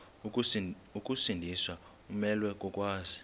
ukusindiswa umelwe kokwazi